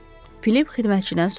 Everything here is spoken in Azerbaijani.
Filip xidmətçidən soruşdu.